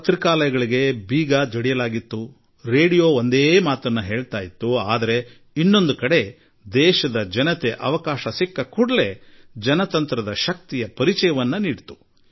ಪತ್ರಿಕೆಗಳ ಕಚೇರಿಗಳಿಗೆ ಬೀಗ ಜಡಿದಿರಬಹುದು ರೇಡಿಯೋ ಒಂದೇ ರೀತಿಯ ಭಾಷೆ ಆಡಿರಬಹುದು ಆದರೆ ಮತ್ತೊಂದು ಕಡೆ ದೇಶದ ಜನತೆ ಅಗತ್ಯ ಬಿದ್ದರೆ ಪ್ರಜಾಸತ್ತಾತ್ಮಕ ಶಕ್ತಿಯನ್ನು ತೋರಿಸಿದ್ದಾರೆ